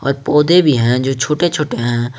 पर पौधे भी हैं जो छोटे छोटे हैं।